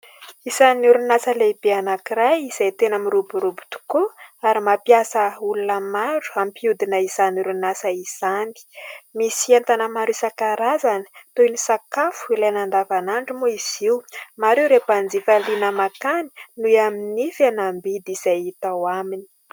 Isan'ny orinasa lehibe anankiray izay tena miroborobo tokoa ary mampiasa olona maro ampihodina izany orinasa izany. Misy entana maro isankarazany toy ny sakafo ilaina andavanandro moa izy io ; maro ireo mpanjifa liana makany noho amin'ny fihenam-bidy izay atao aminy.